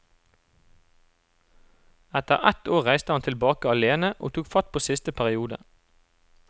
Etter ett år reiste han tilbake alene og tok fatt på siste periode.